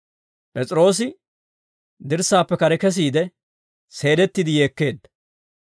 P'es'iroosi dirssaappe kare kesiide, seelettiide yeekkeedda.